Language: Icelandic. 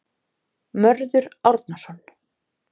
Mörður Árnason.